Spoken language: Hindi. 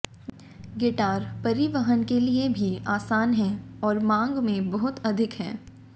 गिटार परिवहन के लिए भी आसान हैं और मांग में बहुत अधिक हैं